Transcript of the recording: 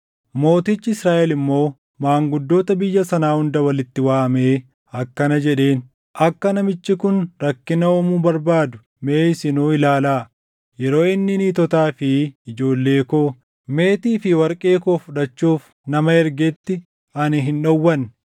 Mootichi Israaʼel immoo maanguddoota biyya sanaa hunda walitti waamee akkana jedheen; “Akka namichi kun rakkina uumuu barbaadu mee isinuu ilaalaa! Yeroo inni niitotaa fi ijoollee koo, meetii fi warqee koo fudhachuuf nama ergetti ani hin dhowwanne.”